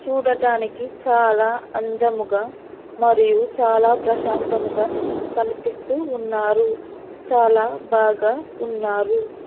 చూడటానికి చాలా అందముగా మరియు చాలా ప్రశాంతముగా కనిపిస్తూ ఉన్నారు చాలా బాగా ఉన్నారు.